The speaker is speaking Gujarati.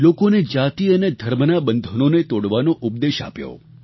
લોકોને જાતિ અને ધર્મનાં બંધનોને તોડવાનો ઉપદેશ આપ્યો